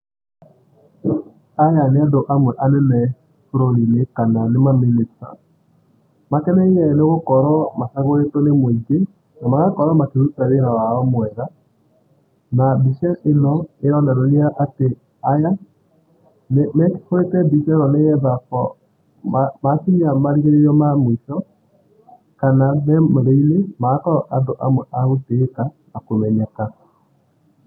Aya nĩ andũ amwe anene bũrũri-inĩ kana nĩ ma minister. Makeneire nĩgũkorwo macagũrĩtwo nĩ mũingĩ na magakorwo makĩruta wĩra wao mwega. Na mbica ĩno ĩronereria atĩ aya, nĩmehũrĩte mbica andũ ĩno nĩgetha makinya marigĩrĩria ma mũico kana memory -nĩ magakorwo andũ amwe a gũtĩĩka na kũmenyeka.